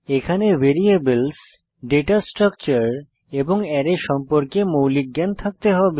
এখানে variables data structure এবং array সম্পর্কে মৌলিক জ্ঞান থাকতে হবে